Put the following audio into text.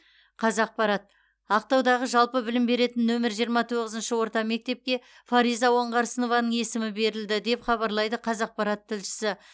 қазақпарат ақтаудағы жалпы білім беретін нөмір жиырма тоғызыншы орта мектепке фариза оңғарсынованың есімі берілді деп хабарлайды қазақпарат тілшісі